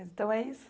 Mas então é isso?